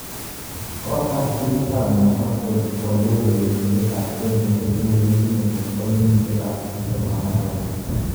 Kkotar timit ab New Castle kwalei urenenindet ab Chelsea nekikure Kenedy nebo kenyishek ab tip tem agenge.